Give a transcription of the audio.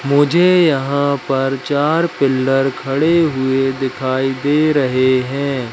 मुझे यहां पर चार पिलर खड़े हुए दिखाई दे रहे हैं।